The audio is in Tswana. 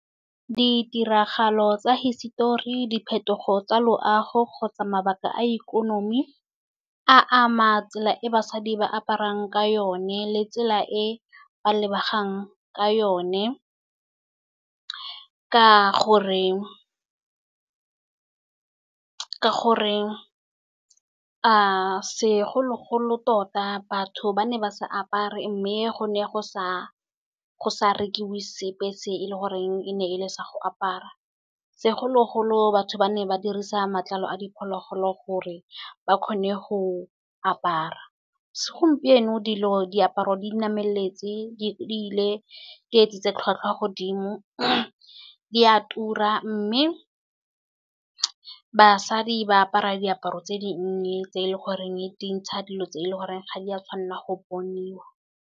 Ditiragalo tsa hisitori, diphetogo tsa loago kgotsa mabaka a ikonomi, a ama tsela e basadi ba aparang ka yone le tsela e ba lebegang ka yone, ka gore ka segolo-golo tota batho ba ne ba sa apare, mme go ne go sa rekiwe sepe se e leng gore e ne e le sa go apara. Segolo-golo, batho ba ne ba dirisa matlalo a diphologolo gore ba kgone go apara, segompieno dilo, diaparo di nameletse, di-di ile di editse tlhwatlhwa godimo , di a tura, mme basadi ba apara diaparo tse di nnye, tse e leng gore dintsha dilo tse e leng gore ga di a tshwanela go boniwa.